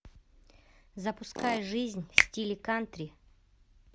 запускай жизнь в стиле кантри